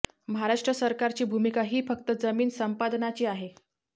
महाराष्ट्र सरकारची भूमिका ही फक्त जमीन संपादनाची आहे